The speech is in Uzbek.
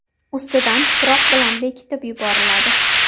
Ustidan tuproq bilan bekitib yuboriladi.